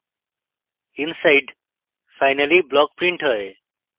inside finally block printed হয়